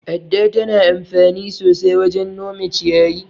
Adda tana anfani sosai wajen nome ciyayi.